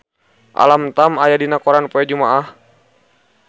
Alam Tam aya dina koran poe Jumaah